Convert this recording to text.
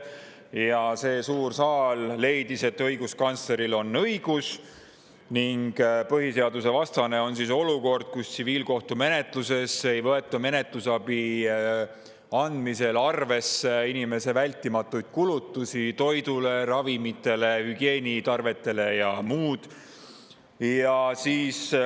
Ja see suur saal leidis, et õiguskantsleril on õigus: põhiseadusevastane on olukord, kus tsiviilkohtumenetluses ei võeta menetlusabi andmisel arvesse vältimatuid kulutusi, mida inimene teeb toidule, ravimitele, hügieenitarvetele ja muule.